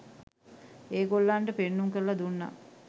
ඒ ගොල්ලන්ට පෙන්නුම් කරලා දුන්නා.